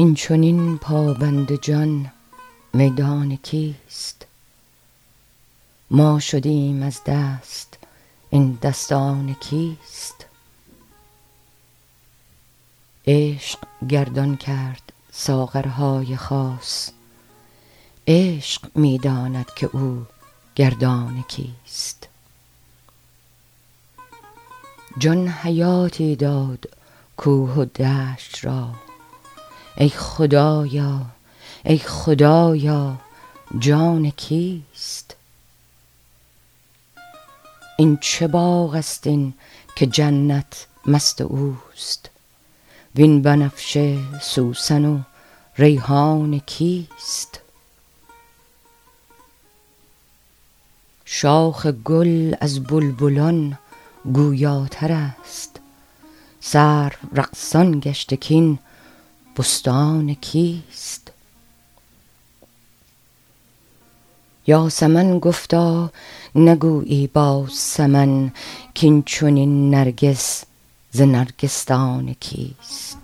این چنین پابند جان میدان کیست ما شدیم از دست این دستان کیست عشق گردان کرد ساغرهای خاص عشق می داند که او گردان کیست جان حیاتی داد کوه و دشت را ای خدایا ای خدایا جان کیست این چه باغست این که جنت مست اوست وین بنفشه و سوسن و ریحان کیست شاخ گل از بلبلان گویاترست سرو رقصان گشته کاین بستان کیست یاسمن گفتا نگویی با سمن کاین چنین نرگس ز نرگسدان کیست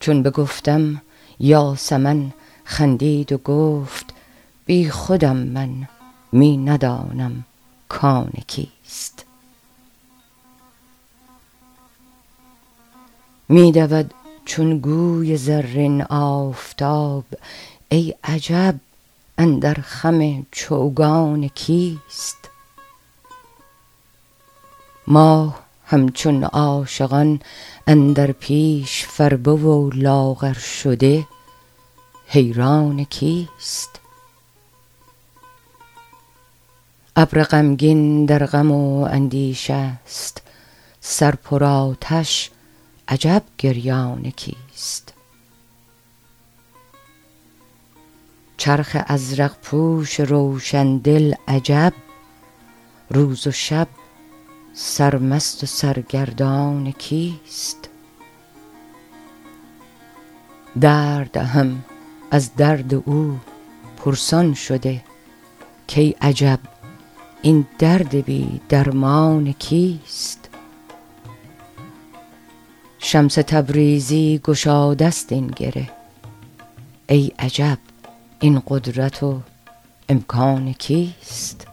چون بگفتم یاسمن خندید و گفت بیخودم من می ندانم کان کیست می دود چون گوی زرین آفتاب ای عجب اندر خم چوگان کیست ماه همچون عاشقان اندر پیش فربه و لاغر شده حیران کیست ابر غمگین در غم و اندیشه است سر پرآتش عجب گریان کیست چرخ ازرق پوش روشن دل عجب روز و شب سرمست و سرگردان کیست درد هم از درد او پرسان شده کای عجب این درد بی درمان کیست شمس تبریزی گشاده ست این گره ای عجب این قدرت و امکان کیست